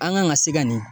An kan ka se ka nin